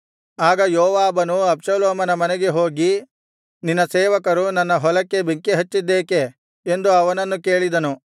ಆಗ ಯೋವಾಬನು ಅಬ್ಷಾಲೋಮನ ಮನೆಗೆ ಹೋಗಿ ನಿನ್ನ ಸೇವಕರು ನನ್ನ ಹೊಲಕ್ಕೆ ಬೆಂಕಿ ಹಚ್ಚಿದ್ದೇಕೆ ಎಂದು ಅವನನ್ನು ಕೇಳಿದನು